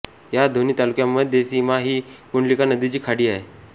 या दोन्ही तालुक्यांमध्ये सीमा ही कुंडलिका नदीची खाडी आहे